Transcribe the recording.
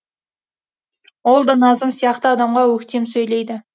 ол да назым сияқты адамға өктем сөйлейді